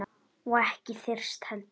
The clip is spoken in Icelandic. Og ekki þyrst heldur.